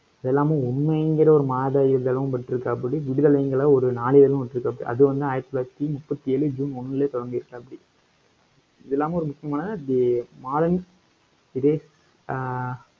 இதெல்லாம, உண்மைங்கிற ஒரு மாத இதழும் விட்டிருக்காப்படி விடுதலைங்கிற, ஒரு நாளிதழும் விட்டிருக்காப்படி அது வந்து, ஆயிரத்தி தொள்ளாயிரத்தி முப்பத்தி ஏழ ஜூன் ஒண்ணுலயே, தொடங்கியிருக்காப்டி. இது இல்லாம, ஒரு முக்கியமான அது மாதம்